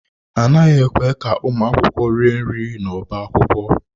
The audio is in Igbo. A naghị ekwe ka ụmụ akwụkwọ rie nri n'ọbá akwụkwọ.